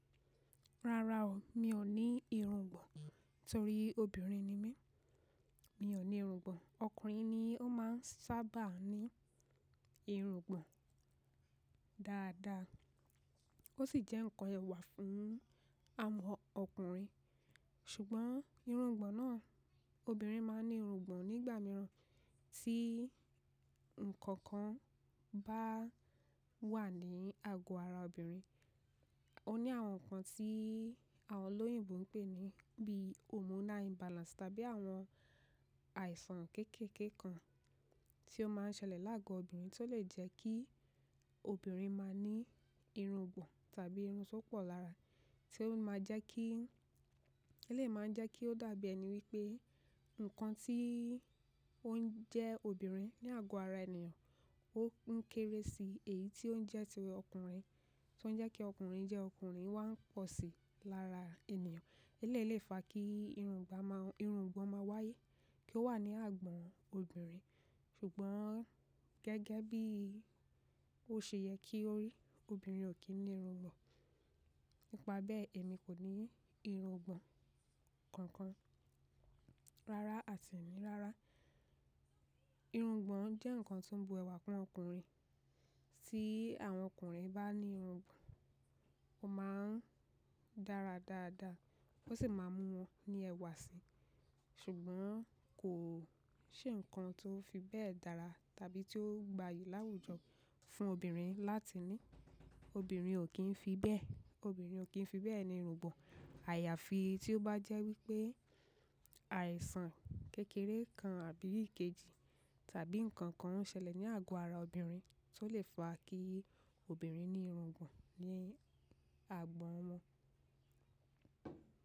Rara o, mi ò ní irungbọ̀n, torí obìnrin ni mí, mi ò ní irungbọ̀n. Ọkùnrin ni ó máa ń sábà ní irungbọ̀n dáadáa, ó sì jẹ́ ǹkan ẹwà fún àwọn ọkùnrin. Ṣùgbọ́n irungbọ̀n náà, obìnrin máa ń ní irungbọ̀n nígbà mìíràn, tí ǹkan kan bá wà ní àgọ́ ara obìnrin. Ó ní àwọn ǹkan tí àwọn olóyìnbo ń pè ní bí hormonal imbalance tàbí àwọn àìsàn kékeké kan tí ó máa ń ṣẹlẹ̀ láàgo obìnrin tí ó lè jẹ́ kí obìnrin má ní irungbọ̀n tàbí irun tó pọ̀ lára, tí ó máa jẹ́ kí, ẹ lè máa jẹ́ kí ó dàbí ẹni wípé ǹkan tí ó ń jẹ́ obìnrin ní àgọ́ ara ènìyàn ó ń kéré sí èyí tí ó ń jẹ́ ti ọkùnrin, tí ó ń jẹ́ kí ọkùnrin jẹ́ ọkùnrin wá ń pọ̀ sí lára ènìyàn. E léèlé fa kí irungbà máa, irungbọ̀n máa wáyé kí ó wà ní àgbọ̀n obìnrin. Ṣùgbọ́n gẹ́gẹ́ bí ó ṣe yẹ kí ó rí, obìnrin ò kí ń ní irungbọ̀n. Nípa bẹ́ẹ̀ èmi kò ní irungbọ̀n kankan. Rárá àti ìminira, irungbọ̀n jẹ́ ǹkan tó bú ẹwà fún àwọn ọkùnrin. Tí àwọn ọkùnrin bá ní irungbọ̀n, ó máa ń dára dáadáa, ó sì máa mú wọn ní ẹwà sí. Ṣùgbọ́n kò ṣe ǹkan tó fi bẹ́ẹ̀ dára tàbí tó gbayì láwùjọ fún obìnrin láti ní. Obìnrin ò kín fi bẹ́ẹ̀, obìnrin ò kín fi bẹ́ẹ̀ ní irungbọ̀n. Àyàfi tí ó bá jẹ́ wípé àìsàn kékeré kan àbí ìkejì tàbí ǹkan kan ṣẹlẹ̀ ní àgọ́ ara obìnrin tí ó lè fa kí obìnrin ní irungbọ̀n ní àgbọ̀n wọn.